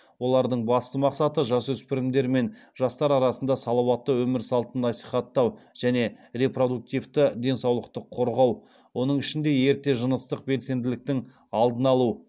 олардың басты мақсаты жасөспірімдер мен жастар арасында салауатты өмір салтын насихаттау және репродуктивті денсаулықты қорғау оның ішінде ерте жыныстық белсенділіктің алдын алу